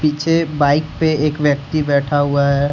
पीछे बाइक पे एक व्यक्ति बैठा हुआ है।